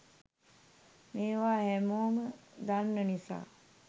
මේවා හැමෝම දන්න නිසා